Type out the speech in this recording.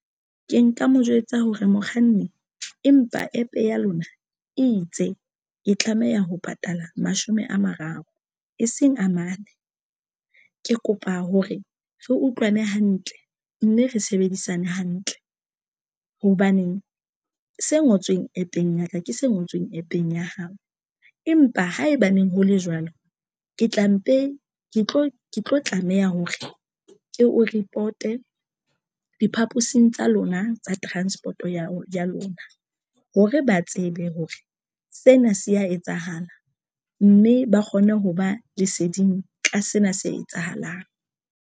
Ke nka mo jwetsa hore mokganni empa APP ya lona e itse e tlameha ho patala mashome a mararo e seng a mane. Ke kopa hore re utlwane hantle mme re sebedisane hantle. Hobaneng se ngotsweng APP-eng ya ka ke se ngotsweng APP-eng ya hao. Empa haebaneng ho le jwalo ke tla mpe ke tlo ke tlo tlameha hore ke o report-e diphaposing tsa lona tsa transport-o ya ya lona hore ba tsebe hore sena se ya etsahala mme ba kgone ho ba leseding ka sena se etsahalang.